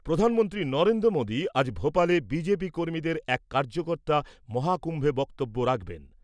প্রধানমন্ত্রী নরেন্দ্র মোদি আজ ভোপালে কর্মীদের এক কার্যকর্তা মহাকুম্ভে বক্তব্য রাখবেন ।